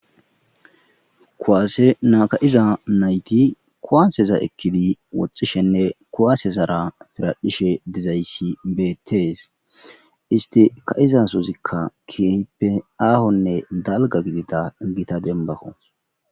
kuwaase naka'iza nayti kuwaseza ekkidi woxxishenne kuwaase zara piradhishe dizayssi beetees isti ka'izasozikka kiyppe aahonne dalga gidida gita denbakko